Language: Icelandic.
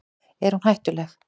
Er hún hættuleg?